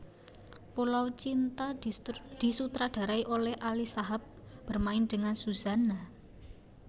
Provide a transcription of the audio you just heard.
Pulau Cinta disutradarai oleh Ali Shahab bermain dengan Suzanna